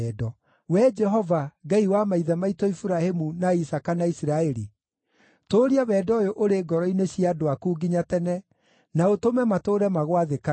Wee Jehova, Ngai wa maithe maitũ Iburahĩmu, na Isaaka na Isiraeli, tũũria wendo ũyũ ũrĩ ngoro-inĩ cia andũ aku nginya tene na ũtũme matũũre magwathĩkagĩra.